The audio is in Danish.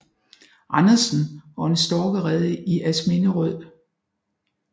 Andersen og en storkerede i Asminderød